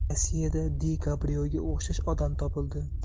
Rossiyada Di Kaprioga o‘xshash odam topildi.